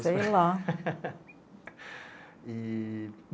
Sei lá. e...